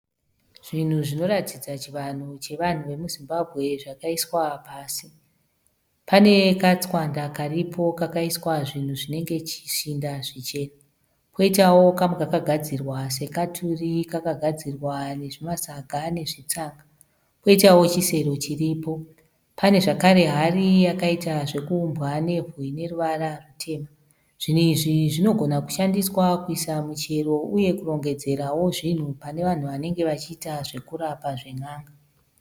Zvinhu zvinoratidza chivanhu chevanhu vemuZimbabwe zvakaiswa pasi. Pane katswanda karipo kakaiswa zvinhu zvinenge zvishinda zvichena. Koitawo kamwe kakagadzirwa sekaturi. Kakagadzirwa nezvimasaga nezvitsanga. Poitawo chisero chiripo. Pane zvakare hari yakaita zvekuumbwa nebwe ine ruvara rutema. Zvinhu izvi zvinogona kushandiswa kuisa michero uye kurongedzerawo zvinhu pane vanhu vanenge vachiita zvekurapa zven'anga.